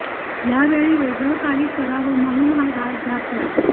ह्यावेळी वेगळ काही कराव म्हणून हा घाट घातला